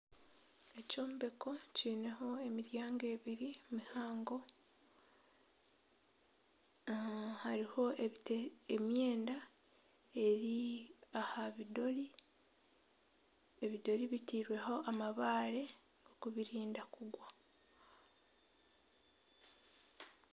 Ekyombeko kiineho emiryango ebiri mihango. Hariho emyenda eri aha bidori. Ebidori biteirweho amabaare kubirinda kugwa.